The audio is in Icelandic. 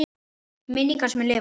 Minning hans mun lifa.